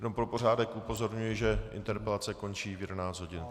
Jenom pro pořádek upozorňuji, že interpelace končí v 11 hodin.